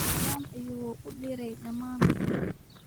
Salaan ayuu uu diray dhammaan.